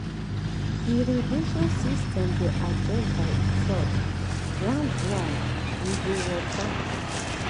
irrigation system dey adjust by itself ground dry? e go water.